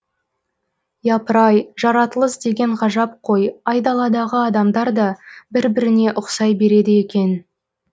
япырай жаратылыс деген ғажап қой айдаладағы адамдар да бір біріне ұқсай береді екен